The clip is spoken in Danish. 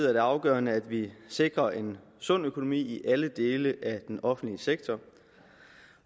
er det afgørende at vi sikrer en sund økonomi i alle dele af den offentlige sektor